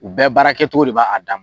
U bɛɛ baarakɛ cogo de b'a dan ma.